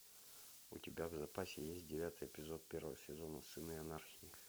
у тебя в запасе есть девятый эпизод первого сезона сыны анархии